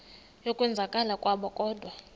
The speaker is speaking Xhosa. yokwenzakala kwabo kodwa